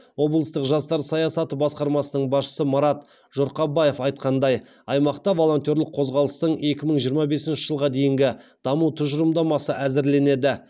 облыстық жастар саясаты басқармасының басшысы марат жұрқабаев айтқандай аймақта волонтерлік қозғалыстың екі мың жиырма бесінші жылға дейінгі даму тұжырымдамасы әзірленеді